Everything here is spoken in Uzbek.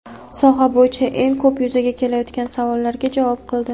soha bo‘yicha eng ko‘p yuzaga kelayotgan savollarga javob qildi.